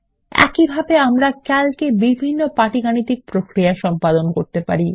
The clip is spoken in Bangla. একইভাবে আমরা ক্যালক এ বিভিন্ন পাটিগাণিতিক প্রক্রিয়া সম্পাদন করতে পারি